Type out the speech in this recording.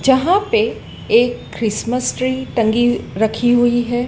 जहां पे एक क्रिसमस ट्री टंगी रखी हुई है।